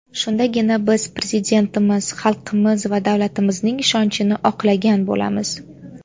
Shundagina biz Prezidentimiz, xalqimiz va davlatimizning ishonchini oqlagan bo‘lamiz.